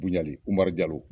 Buɲalen Umaru jalo.